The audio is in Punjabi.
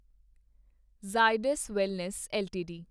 Zydus wellness LTD